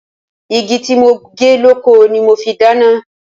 Igi tí mo gé lóko ni mo fi dáná.